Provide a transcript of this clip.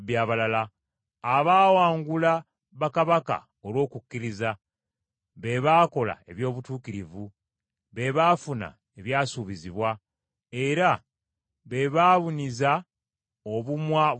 abaawangula bakabaka olw’okukkiriza, be baakola eby’obutuukirivu, be baafuna ebyasuubizibwa, era be baabuniza obumwa bw’empologoma,